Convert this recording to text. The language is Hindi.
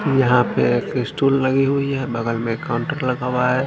यहाँ पर एक स्टूल लगी हुई है बगल में काउन्टर लगा हुआ है।